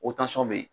bɛ yen